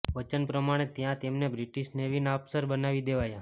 વચન પ્રમાણે ત્યાં તેમને બ્રિટિશ નેવીના અફસર બનાવી દેવાયા